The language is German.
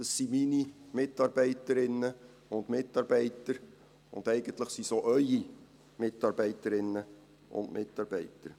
Das sind meine Mitarbeiterinnen und Mitarbeiter, und eigentlich sind es auch Ihre Mitarbeiterinnen und Mitarbeiter.